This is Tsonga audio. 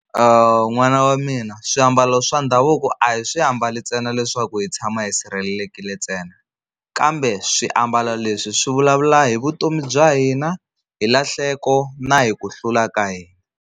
N'wana wa mina swiambalo swa ndhavuko a hi swi ambali ntsena leswaku hi tshama hi sirhelelekile ntsena, kambe swiambalo leswi swi vulavula hi vutomi bya hina hi lahleko na hi ku hlula ka hina.